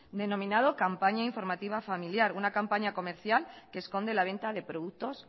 denominado campaña informativa familiar una campaña comercial que esconde la venta de productos